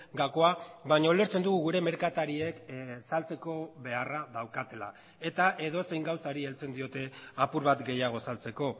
gakoa baina ulertzen dugu gure merkatariek saltzeko beharra daukatela eta edozein gauzari heltzen diote apur bat gehiago saltzeko